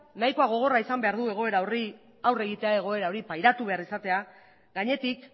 nahiko gogorra izan behar du egoera hori pairatu behar izatea gainetik